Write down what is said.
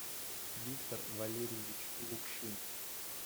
виктор валерьевич лукшин